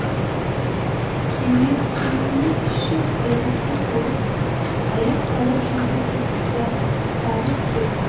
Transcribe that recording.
кеменің іші дәретке толып аяқ алып жүргісіз ластанып кетті